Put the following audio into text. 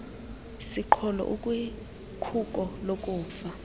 siqholo ukwikhuko lokufa